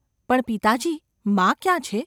‘પણ, પિતાજી મા ક્યાં છે?